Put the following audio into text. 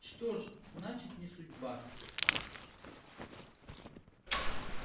что ж значит не судьба